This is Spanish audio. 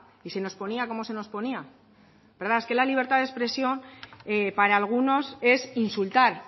y se nos ponía como se nos ponía verdad es que la libertad de expresión para algunos es insultar